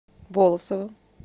волосово